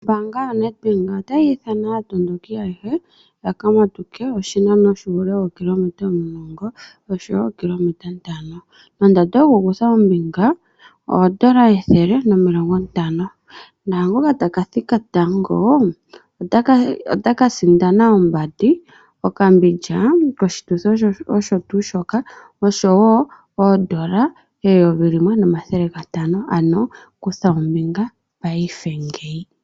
Ombaanga yo NedBank otayi ithana aatondoki ayehe ya ka matuke oshinano shuule wookilometa omulongo, oshowo ookilometa ntano. Nondando yokukutha ombinga oondola ethele nomilongo ntano. Naangoka ta ka thika tango ota ka sindana ombandi, okambindja koshituthi osho tuu shoka oshowo oondola eyovi limwe nomathele gatano, ano kutha ombinga paife ngeyi.